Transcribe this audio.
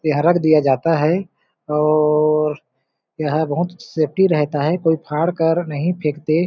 यहाँ रख दिया जाता है और यहाँ बहुत सेफ्टी रहता है कोई फ़ाड कर नहीं फेंकते।